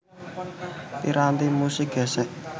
Piranti musik gèsèk